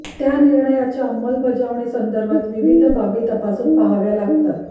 त्या निर्णयाच्या अंमलबजावणी संदर्भात विविध बाबी तपासून पाहाव्या लागतात